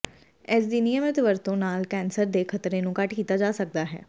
ਇਸਦੀ ਨਿਯਮਤ ਵਰਤੋਂ ਨਾਲ ਕੈਂਸਰ ਦੇ ਖ਼ਤਰੇ ਨੂੰ ਘੱਟ ਕੀਤਾ ਜਾ ਸਕਦਾ ਹੈ